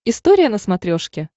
история на смотрешке